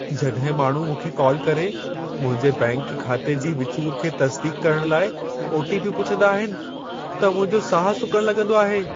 जॾहिं माण्हू मूंखे कॉल करे, मुंहिंजे बैंक खाते जी विचूर खे तस्दीक़ करणु लाइ ओ.टी. पी.पुछंदा आहिनि, त मुंहिंजो साहु सुकणु लगं॒दो आहे।